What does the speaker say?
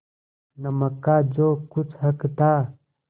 नमक का जो कुछ हक था